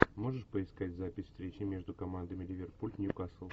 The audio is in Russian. можешь поискать запись встречи между командами ливерпуль ньюкасл